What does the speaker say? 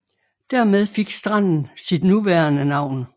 Dermed fik stranden sit nuværende navn